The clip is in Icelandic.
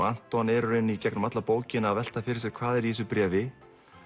Anton er í raun í gegnum alla bókina að velta fyrir sér hvað er í þessu bréfi